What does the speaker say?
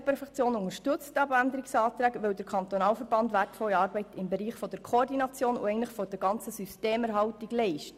Die EVP-Fraktion unterstützt den Abänderungsantrag, weil der Kantonalverband wertvolle Arbeit im Bereich der Koordination und der ganzen Systemerhaltung leistet.